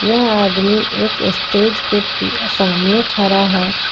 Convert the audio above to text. यह आदमी एक स्टेज के सामने खड़ा है।